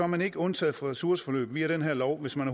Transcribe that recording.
man ikke undtaget fra ressourceforløb via det her lovforslag